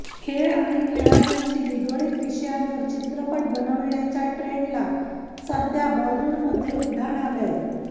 खेळ आणि खेळाडूंशी निगडीत विषयांवर चित्रपट बनवण्याच्या ट्रेंडला सध्या बॉलीवूडमध्ये उधाण आलंय